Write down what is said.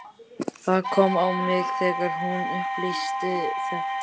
Það kom á mig þegar hún upplýsti þetta.